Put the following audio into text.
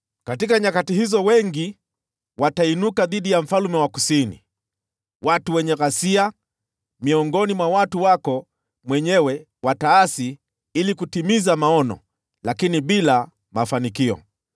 “Katika nyakati hizo wengi watainuka dhidi ya mfalme wa Kusini. Watu wenye ghasia miongoni mwa watu wako mwenyewe wataasi ili kutimiza maono, lakini bila mafanikio.